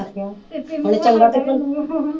ਆਖਿਆ ਹੁਣ ਚੰਗਾ ਕਿੱਥੋਂ